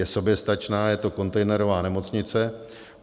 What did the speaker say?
Je soběstačná, je to kontejnerová nemocnice.